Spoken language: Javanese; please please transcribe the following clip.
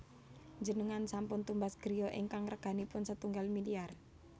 Njenengan sampun tumbas griya ingkang reganipun setunggal miliar